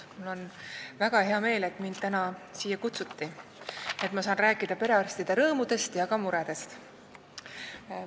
Mul on väga hea meel, et mind täna siia kutsuti ning et ma saan rääkida perearstide rõõmudest ja ka muredest.